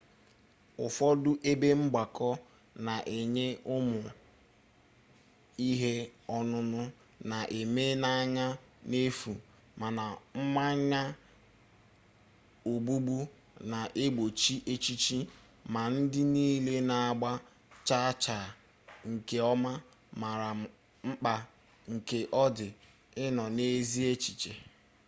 ụfọdụ ebe mgbakọ na-enye ụmụ ihe ọn̄ụn̄ụ na-eme n'anya n'efu. mana mmanya ogbugbu na-egbochi echiche ma ndị nille na-agba chaa chaa nke ọma mara mkpa nke ọ dị ịnọ n'ezi echiche